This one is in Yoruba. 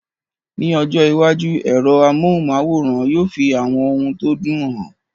Ní ọjọ́ iwájú, ẹ̀rọ amóhùnm'áwòrán yóò fi àwọn ohun tó dùn hàn